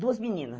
Duas meninas.